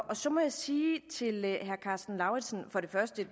og så må jeg sige til herre karsten lauritzen at